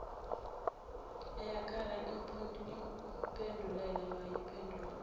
eyakhala iphindelela wayiphendula